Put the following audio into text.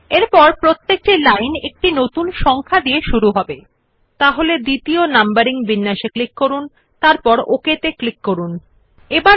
একই ভাবে সংখ্যায়ন বিকল্প সংখ্যায়ন নির্বাচন এবং প্রতি লাইনে একটি নতুন সংখ্যা দিয়ে শুরু করা হবে করা হয় numbering is done in the same way by selecting the numbering option and every line will start with a new number